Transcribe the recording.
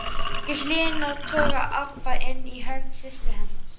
Í hliðinu togaði Abba hin í hönd systur sinnar.